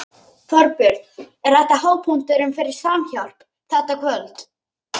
Þorbjörn: Er þetta hápunkturinn fyrir Samhjálp, þetta kvöld?